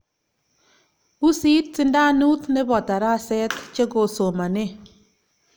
usit, sindanut nebo taraset chegosomane